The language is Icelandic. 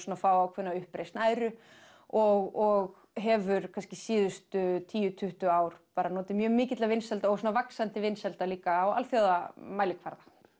að fá ákveðna uppreisn æru og hefur kannski síðustu tíu til tuttugu ár notið mjög mikilla vinsælda og vaxandi vinsælda líka á alþjóðamælikvarða